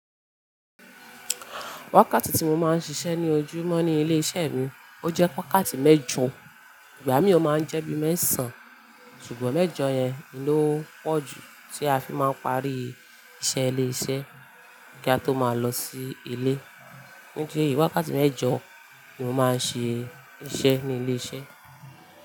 Wákàtí tí mo máa ń ṣiṣẹ́ ní ojúmọ́ ní ilé iṣẹ́ mi ó jẹ́ wákàtí mẹ́jọ. Ìgbà mi ó máa ń jẹ́ bíi mẹ́sàn-án, ṣùgbọ́n mẹ́jọ yẹn lo pọ̀ jù tí a fi máa ń parí iṣẹ́ ilé iṣẹ́ kí a tó máa lọ sí ilé. Nidi eyi wákàtí mẹ́jọ ni mo máa ń ṣe iṣẹ́ ní ilé iṣẹ́.